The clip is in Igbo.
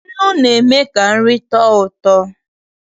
Nnụ na-eme ka nri tọọ ụtọ.